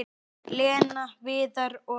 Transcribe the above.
Lena, Viðar og